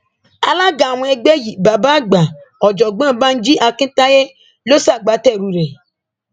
alága àwọn ẹgbẹ yìí bàbá àgbà ọjọgbọn banji akintaye ló ṣagbátẹrù rẹ